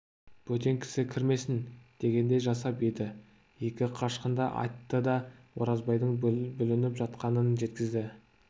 бөтен кісі кірмесін дегендей жасап еді екі қашқынды айтты да оразбайдың бүлініп жатқанын жеткізді